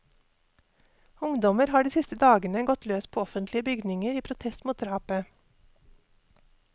Ungdommer har de siste dagene gått løs på offentlige bygninger i protest mot drapet.